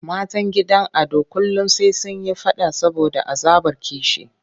Matan gidan Ado kullum sai sun yi faɗa saboda azabar kishi.